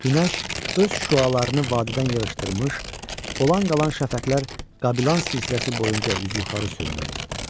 Günəş öz şüalarını vadidən yığışdırmış, olan qalan şəfəqlər Qablan silsiləsi boyunca üzü yuxarı sürünürdü.